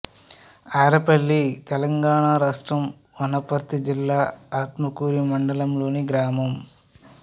ఆరేపల్లి తెలంగాణ రాష్ట్రం వనపర్తి జిల్లా ఆత్మకూరు మండలంలోని గ్రామం